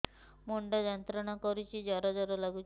ମୁଣ୍ଡ ଯନ୍ତ୍ରଣା କରୁଛି ଜର ଜର ଲାଗୁଛି